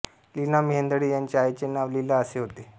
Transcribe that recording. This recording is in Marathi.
लीना मेहेंदळे यांच्या आईचे नाव लीला असे होते